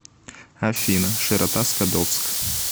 афина широта скадовск